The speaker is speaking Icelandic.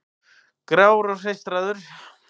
Grár og hreistraður.